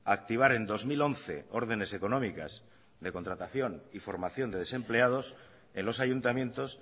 a activar en dos mil once órdenes económicas de contratación y formación de desempleados en los ayuntamientos